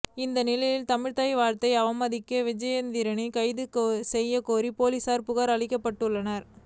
இந்நிலையில் தமிழ்த்தாய் வாழ்த்தை அவமதித்த விஜயேந்திரரை கைது செய்யக்கோரி போலீஸில் புகார் அளிக்கப்பட்டுள்ளது